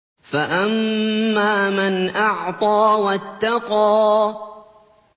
فَأَمَّا مَنْ أَعْطَىٰ وَاتَّقَىٰ